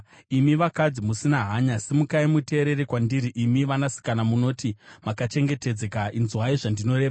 Imi vakadzi musina hanya, simukai muteerere kwandiri; imi vanasikana munoti makachengetedzeka, inzwai zvandinoreva!